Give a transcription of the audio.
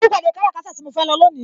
Mo ní ìpàdé kára kata tí mo fẹ́ lọ lónìí.